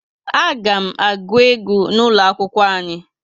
A ga m aguu egwu n'ulo akwụkwọ anyi